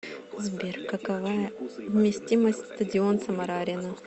сбер какова вместимость стадион самара арена